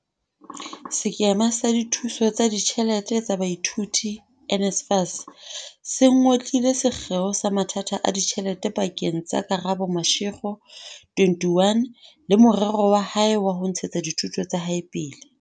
Sekema sa Dithuso tsa Ditjhelete tsa Baithuti, NSFAS, se ngotlile sekgeo sa mathata a ditjhelete pa keng tsa Karabo Mashego, 21, le morero wa hae wa ho ntshetsa dithuto tsa hae pele.